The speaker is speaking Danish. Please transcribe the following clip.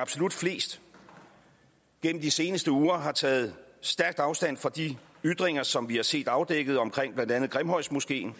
absolut flest gennem de seneste uger har taget stærkt afstand fra de ytringer som vi har set afdækket omkring blandt andet grimhøjmoskeen